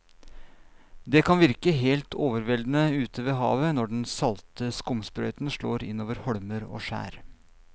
Det kan virke helt overveldende ute ved havet når den salte skumsprøyten slår innover holmer og skjær.